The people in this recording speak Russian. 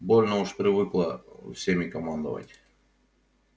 больно уж привыкла всеми командовать